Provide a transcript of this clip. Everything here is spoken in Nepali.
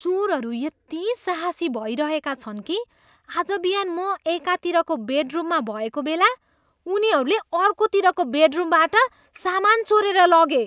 चोरहरू यति साहसी भइरहेका छन् कि आज बिहान म एकातिरको बेडरुममा भएको बेला उनीहरूले अर्कोतिरको बेडरुमबाट सामान चोरेर लगे।